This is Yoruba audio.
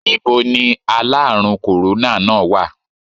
Níboni aláàrùn kòróná náà wà?